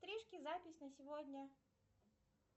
стрижки запись на сегодня